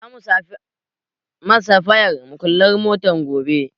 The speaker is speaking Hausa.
Za mu samo safayan muƙullan motar gobe.